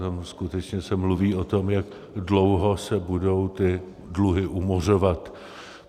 Tam skutečně se mluví o tom, jak dlouho se budou ty dluhy umořovat.